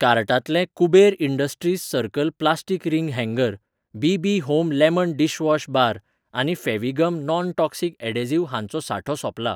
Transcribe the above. कार्टांतले Kuber industries circle plastic ring hanger, BB. Home lemon dishwash bar आनी Fevigum non toxic adhesive हांचो सांठो सोंपला.